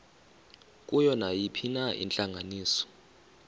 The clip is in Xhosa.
kuyo nayiphina intlanganiso